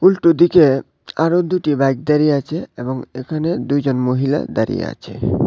একটু ওদিকে আরো দুটি বাইক দাঁড়িয়ে আছে এবং এখানে দুইজন মহিলা দাঁড়িয়ে আছে।